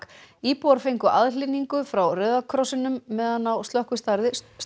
íbúar fengu aðhlynningu frá Rauða krossinum meðan á slökkvistarfi